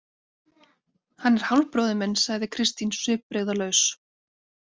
Hann er hálfbróðir minn, sagði Kristín svipbrigðalaus.